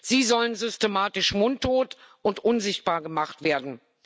Sie sollen systematisch mundtot und unsichtbar gemacht werden.